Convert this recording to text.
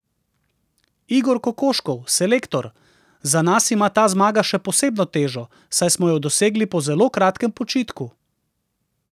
Igor Kokoškov, selektor: "Za nas ima ta zmaga še posebno težo, saj smo jo dosegli po zelo kratkem počitku.